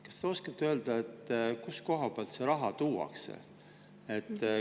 Kas te oskate öelda, kust kohast see raha tuuakse?